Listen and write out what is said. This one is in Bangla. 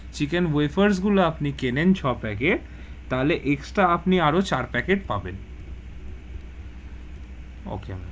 Chicken wafers গুলো আপনি কেনেন ছ packet, তাহলে extra আপনি আরও চার packet পাবেন okay ma'am.